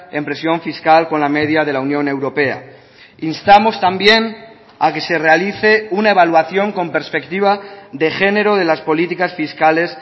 en presión fiscal con la media de la unión europea instamos también a que se realice una evaluación con perspectiva de género de las políticas fiscales